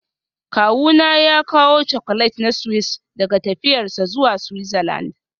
Kawuna ya kawo Chocolate na Swiss daga tafiyarsa zuwa Switzerland